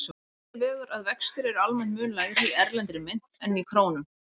Á móti vegur að vextir eru almennt mun lægri í erlendri mynt en í krónum.